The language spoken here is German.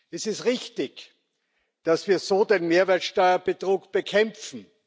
Es ist richtig, dass wir so den Mehrwertsteuerbetrug bekämpfen.